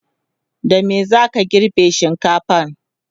da me zaka girbe shinkafan?